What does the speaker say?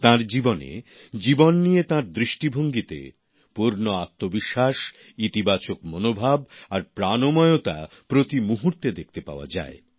তাঁর জীবনে জীবন নিয়ে তাঁর দৃষ্টিভঙ্গিতে পূর্ণ আত্মবিশ্বাস ইতিবাচক মনোভাব আর প্রাণময়তা প্রতি মুহূর্তে দেখতে পাওয়া যায়